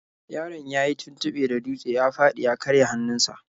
Yaron yayi tuntuɓe da dutse ya fadi ya karya hannunsa.